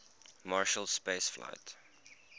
marshall space flight